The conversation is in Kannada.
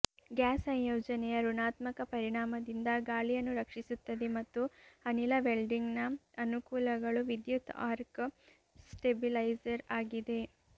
ಗ್ಯಾಸ್ ಸಂಯೋಜನೆಯ ಋಣಾತ್ಮಕ ಪರಿಣಾಮದಿಂದ ಗಾಳಿಯನ್ನು ರಕ್ಷಿಸುತ್ತದೆ ಮತ್ತು ಅನಿಲ ವೆಲ್ಡಿಂಗ್ನ ಅನುಕೂಲಗಳು ವಿದ್ಯುತ್ ಆರ್ಕ್ ಸ್ಟೆಬಿಲೈಸರ್ ಆಗಿದೆ